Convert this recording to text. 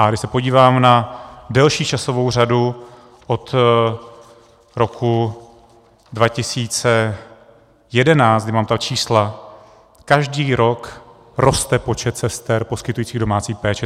A když se podívám na delší časovou řadu od roku 2011, kdy mám ta čísla, každý rok poste počet sester poskytujících domácí péči.